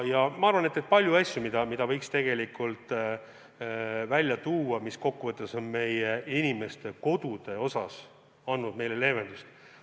Ja on veel palju asju, mida võiks välja tuua, mis kokku võttes on meie inimestele leevendust toonud.